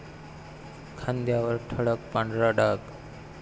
खांद्यावर ठळक पांढरा डाग